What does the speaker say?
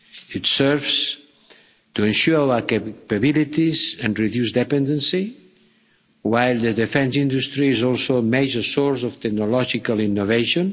It serves to ensure our capabilities and reduce dependency, while the defence industry is also a major source of technological innovation.